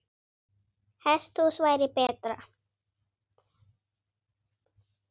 Hesthús væri betra.